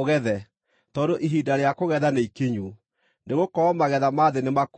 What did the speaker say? ũgethe, tondũ ihinda rĩa kũgetha nĩikinyu, nĩgũkorwo magetha ma thĩ nĩ makũrũ.”